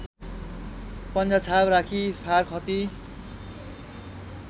पन्जाछाप राखी फारखती